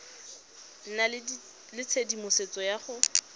nna le tshedimosetso ya go